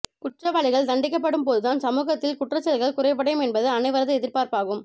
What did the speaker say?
குற்றவாளிகள் தண்டிங்கப்படும் போதுதான் சமூகத்தில் குற்றச்செயல்கள் குறைவடையும் என்பது அனைவரது எதிர்பார்ப்பாகும்